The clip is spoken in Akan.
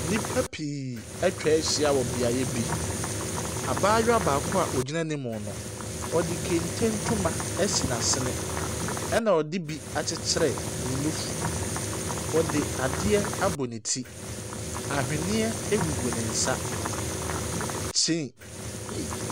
Nnipa pii atwa ahyia wɔ beaeɛ bi, abaayewa baako a ogyina anim no, ɔde kente ntoma ɛsi n’asene ɛna ɔde bi akyekyere n’anofu. Ɔde adeɛ abɔ ne ti, aweneɛ gugu ne nsa, ky eii.